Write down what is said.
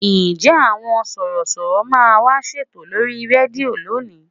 Ǹjẹ́ àwọn Sọ̀rọ̀ṣọ̀rọ̀ máa wá ṣètò lórí rédíò lónìí?